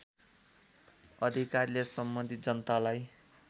अधिकारीले सम्बन्धित जनतालाई